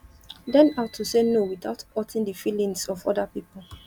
learn how to sey no without hurting di feelings of oda pipo